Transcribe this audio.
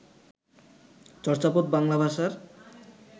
চর্যাপদ বাংলা ভাষার